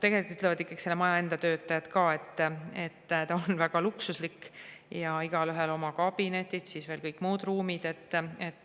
tegelikult ütlevad selle maja enda töötajad ka, et ta on väga luksuslik, igaühel on oma kabinetid ja on veel kõik muud ruumid.